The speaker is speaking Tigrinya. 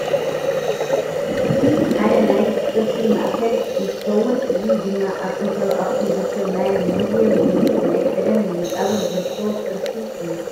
እዚ ሓደ ናይ ቅርሲ ማእከል እንትከውን እዚ ድም ኣብ ጥንታዊት ኣክሱም ዝርከብ ናይ ሙዚየም ወይ ናይ ቀደም መቃብር ዝርከቦ ቅርሲ እዩ።